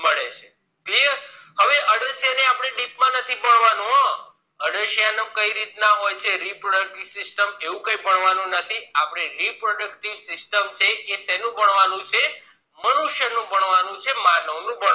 હવે અળસિયા ને આપણે deep માં નથી ભણવાનું હો અળસિયા નું કઈ રીત ના હોય છે reproductive system એવું કઈ ભણવાનું નથી આપણે reproductive system છે એ શેનું ભાનાવનું છે મનુષ્ય નું ભણવાનું છે માનવ નું